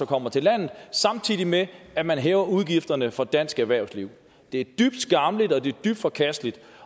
kommer til landet samtidig med at man hæver udgifterne for dansk erhvervsliv det er dybt skammeligt og det er dybt forkasteligt